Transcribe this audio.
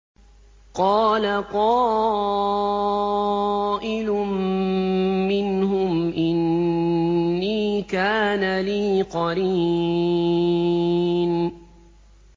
قَالَ قَائِلٌ مِّنْهُمْ إِنِّي كَانَ لِي قَرِينٌ